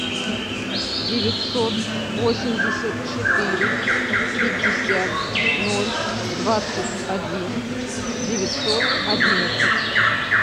девятьсот восемьдесят четыре пятьдесят ноль двадцать один девятьсот одиннадцать